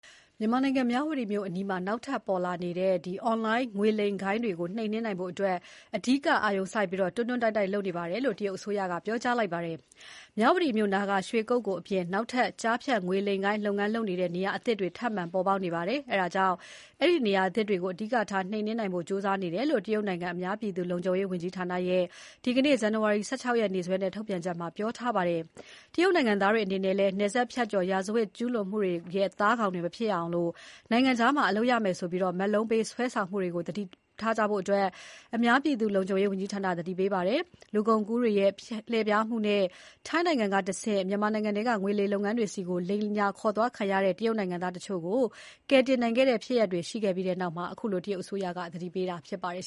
မြန်မာနိုင်ငံ မြဝတီမြို့အနီးမှာ နောက်ထပ်ပေါ်လာနေတဲ့ အွန်လိုင်းငွေလိမ်လုပ်ငန်းတွေကို နှိမ်နင်းနိုင်ဖို့ အဓိကအာရုံစိုက် ဆက်လက်ဖိအားပေး ဆောင်ရွက်နေတယ်လို့ တရုတ်အစိုးရက ပြောလိုက်ပါတယ်။ မြဝတီမြို့နားက ရွှေကုက္ကိုအပြင် နောက်ထပ် ကျားဖြန့်ငွေလိမ်လုပ်ငန်းလုပ်နေတဲ့ နေရာအသစ်တွေ ထပ်မံပေါ်ပေါက်နေပါတယ်။ အဲဒါကြောင့် အဲဒီနေရာသစ်တွေကို အဓိကထား နှိမ်နင်းနိုင်ဖို့ ကြိုးစား နေတယ်လို့ တရုတ်နိုင်ငံ အများပြည်သူ လုံခြုံရေးဝန်ကြီးဌာနရဲ့ ဒီနေ့ ဇန်နဝါရီ ၁၆ ရက်နေ့စွဲနဲ့ ထုတ်ပြန် ထားပါတယ်။ တရုတ်နိုင်ငံသားတွေအနေနဲ့လည်း နယ်စပ်ဖြတ်ကျော် ရာဇဝတ်ကျူးလွန်သူတွေရဲ့ သားကောင်တွေ မဖြစ်ရအောင် နိုင်ငံခြားမှာ အလုပ်ရမယ်ဆိုပြီး မက်လုံးပေး စွဲဆောင်မှုတွေကို သတိထားကြဖို့ အများပြည်သူလုံခြုံရေးဝန်ကြီးဌာနက သတိပေးထားပါတယ်။ လူကုန်ကူးတွေရဲ့ လှည့်ဖျားမှုနဲ့ ထိုင်းနိုင်ငံကတဆင့် မြန်မာနိုင်ငံထဲက ငွေလိမ်လုပ်ငန်းတွေဆီကို လိမ်ညာခေါ်သွားခံခဲ့ရတဲ့ တရုတ်နိုင်ငံသားတချို့ကို ကယ်တင်နိုင်ခဲ့တဲ့ ဖြစ်ရပ်တွေရှိခဲ့ပြီးနောက်မှာ ခုလို တရုတ်အစိုးရက သတိပေးတာဖြစ်ပါတယ်